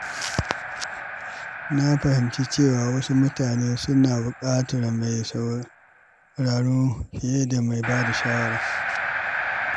Na fahimci cewa wasu mutane suna buƙatar mai sauraro fiye da mai bada shawara.